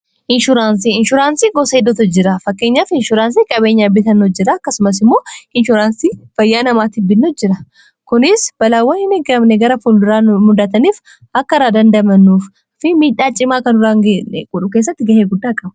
inshuraansii gosa hiddutu jira fakkeenya f inshuraansii qabeenya bitannu jira akkasumas immoo inshuraansii fayyaa namaa tibbinno jira kunis balaawwahi migamne gara fulduraa muddhataniif akka raa dandamanuuf fi miidhaa cimaa kan duraangae qudhu keessatti ga'ee guddaa qaba